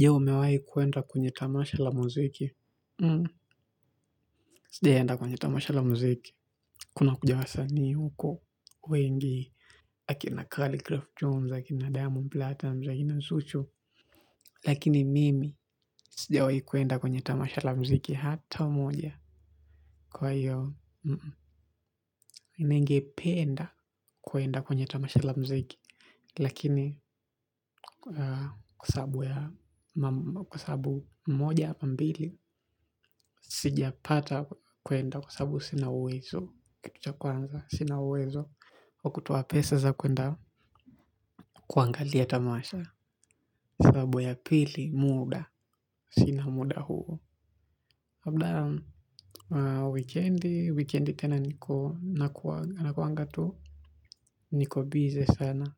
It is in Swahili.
Je umewahi kuenda kwenye tamasha la muziki. Sijawahi enda kwenye tamasha la muziki. Kuna kuja wasanii huko wengi. Akina kaligraph Jones, akina Diamond Platons, akina zuchu. Lakini mimi, sijawahi kwenda kwenye tamasha la muziki. Hata moja kwa hiyo. Ningependa kwenda kwenye tamasha la muziki. Lakini kwa sababu ya kwa sababu moja ama mbili. Sija pata kwenda kwa sababu sina uwezo. Kitu cha kwanza sina uwezo wa kutoa pesa za kwenda kuangalia tamasha. Sababu ya pili muda. Sina muda huo labda wikendi. Wikendi tena niko. Nakuanga tu. Niko bize sana